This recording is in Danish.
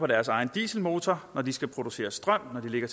deres egen dieselmotor når de skal producere strøm når de ligger